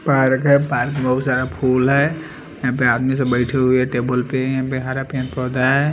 Park है park में बहुत सारा फूल है यहाँ पे आदमी सब बैठे हुए टेबल पे यहाँ पे हरा पेड पौधा है।